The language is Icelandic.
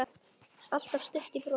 Alltaf stutt í brosið.